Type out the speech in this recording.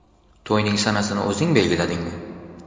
To‘yning sanasini o‘zing belgiladingmi?